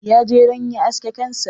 Ya je don ya aske kansa.